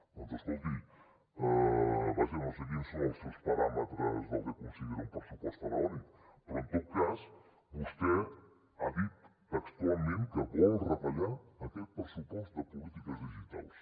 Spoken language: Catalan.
doncs escolti vaja no sé quins són els seus paràmetres del que considera un pressupost faraònic però en tot cas vostè ha dit textualment que vol retallar aquest pressupost de polítiques digitals